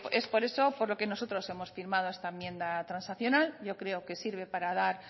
es por eso por lo que nosotros hemos firmado esta enmienda transaccional yo creo que sirve para dar